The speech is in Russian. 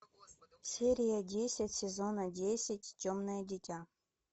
серия десять сезона десять темное дитя